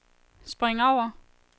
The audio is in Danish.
spring over